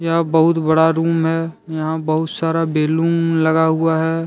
यह बहुत बड़ा रूम है। यहां बहुत सारा बैलून लगा हुआ है।